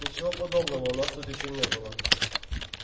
ничего подобного у нас тут ещё не было